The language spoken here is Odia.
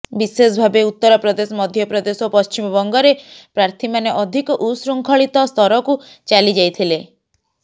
ବିଶେଷ ଭାବେ ଉତ୍ତରପ୍ରଦେଶ ମଧ୍ୟପ୍ରଦେଶ ଓ ପଶ୍ଚିବବଙ୍ଗରେ ପ୍ରର୍ଥୀମାନେ ଅଧିକ ଉଶୃଙ୍ଖଳିତ ସ୍ଥରକୁ ଚାଲିଯାଇଥିଲେ